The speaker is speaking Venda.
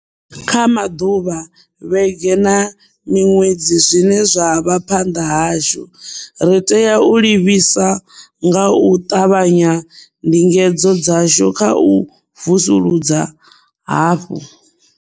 Kha maḓuvha, vhege na miṅwedzi zwine zwa vha phanḓa hashu, ri tea u livhisa nga u ṱavhanya ndingedzo dzashu kha u vusuludza hafhu.